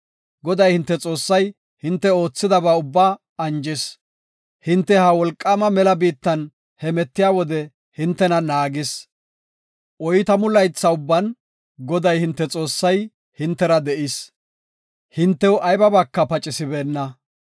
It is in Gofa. Goday hinte Xoossay hinte oothidaba ubbaa anjis; hinte ha wolqaama mela biittan hemetiya wode hintena naagis. Oytamu laytha ubban Goday hinte Xoossay hintera de7is; hintew aybaaka pacisibeenna.